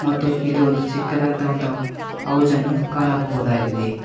ಮತ್ತು ಇಲ್ಲಿ ಒಂದು ಚಿಕ್ಕದಾದಂತ ಒಂದು ಹೌಜ್ ಅನ್ನು ಕಾಣಬಹುದಾಗಿದೆ.